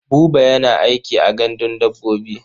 Buba yana aiki a gandun dabbobi.